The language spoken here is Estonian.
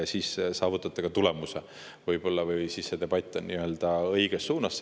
Siis saavutate võib-olla ka tulemuse või debatt läheb õiges suunas.